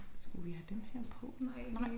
Skulle vi have dem her på nu? Nej